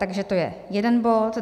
Takže to je jeden bod.